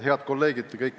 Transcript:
Head kolleegid!